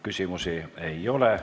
Küsimusi ei ole.